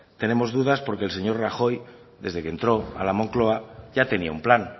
tenemos dudas porque el señor rajoy desde que entró a la moncloa ya tenía un plan